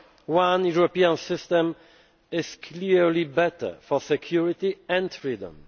One European system is clearly better for security and freedom.